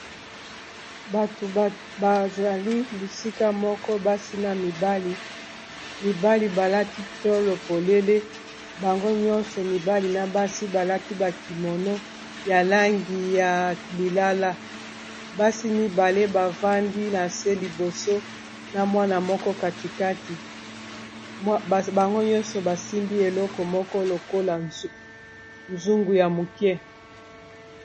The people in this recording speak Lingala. bato bazali bisika moko basi na mibali mibali balati tolo polele bango nyonso mibali na basi balati bakimono ya langi ya lilala basi mibale bavandi na se liboso na mwana moko katikati bango nyonso basimbi eloko moko lokola zungu ya moke